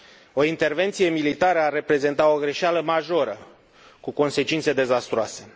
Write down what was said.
O intervenție militară ar reprezenta o greșeală majoră, cu consecințe dezastruoase.